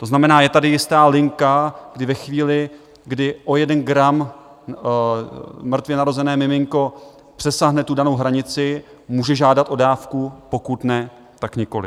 To znamená, je tady jistá linka, kdy ve chvíli, kdy o jeden gram mrtvě narozené miminko přesáhne tu danou hranici, může žádat o dávku, pokud ne, tak nikoliv.